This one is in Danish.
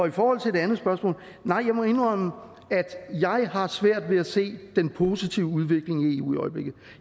i forhold til det andet spørgsmål nej jeg må indrømme at jeg har svært ved at se den positive udvikling i eu i øjeblikket